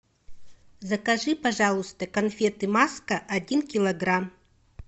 закажи пожалуйста конфеты маска один килограмм